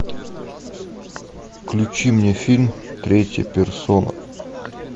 включи мне фильм третья персона